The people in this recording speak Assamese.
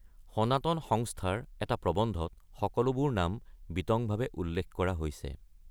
সনাতন সংস্থাৰ এটা প্ৰবন্ধত সকলোবোৰ নাম বিতংভাৱে উল্লেখ কৰা হৈছে।